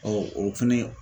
Ɔ o fɛnɛ